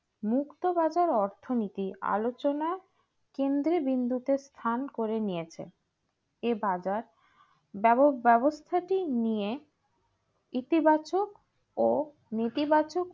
মুক্ত বাজার অর্থনীতি আলোচনা কেন্দ্র বিন্দুতে স্থান করে নিয়েছে এই বাজার ব্যবস্থাটি নিয়ে ইতিবাচক ও নেতিবাচক